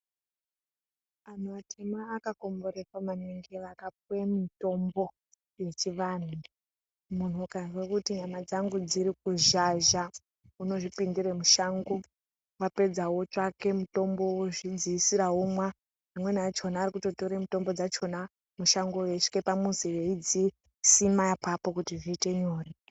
Anhu atema akakomborerwa maningi vakapuwe mitombo yechivanhu. Munhu ukazwe kuti nyama dzangu dziri kuzhazha, unozvipindire mushango. Wapedza wotsvake mutombo wozvidziisira womwa. Amweni achona ari kutotore mutombo dzachona, mushango eyisvike pamuzi eidzisima apapo kuti zviite nyore.